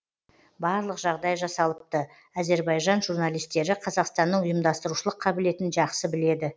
барлық жағдай жасалыпты әзербайжан журналистері қазақстанның ұйымдастырушылық қабілетін жақсы біледі